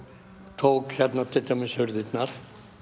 tók til dæmis hurðirnar